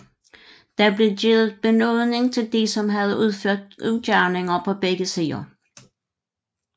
Der blev givet benådning til de som havde udført ugerninger på begge sider